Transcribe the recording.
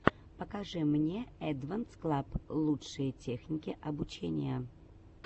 покажи мне эдванс клаб лучшие техники обучения